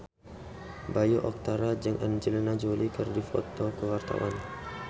Bayu Octara jeung Angelina Jolie keur dipoto ku wartawan